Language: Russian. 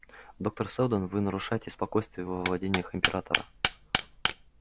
доктор сэлдон вы нарушаете спокойствие во владениях императора